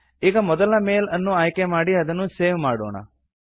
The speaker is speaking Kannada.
ಈಗ ಮೊದಲ ಮೇಲ್ ಅನ್ನು ಆಯ್ಕೆ ಮಾಡಿ ಅದನ್ನು ಸೇವ್ ಮಾಡೋಣ